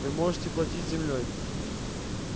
вы можете платить землёй